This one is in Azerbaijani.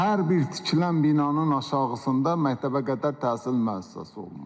Hər bir tikilən binanın aşağısında məktəbəqədər təhsil müəssisəsi olmalıdır.